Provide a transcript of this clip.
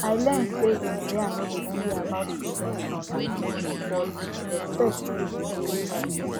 i learn say gonorrhea no be only about prevention um but respect too dey inside